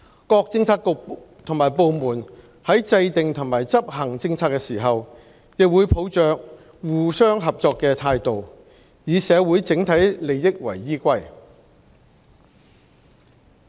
各政策局及部門在制訂及執行政策時，亦會抱着互相合作的態度，以社會整體利益為依歸。